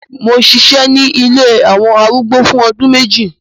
Mo ṣiṣẹ ni ilé awọn arúgbó fun ọdun meji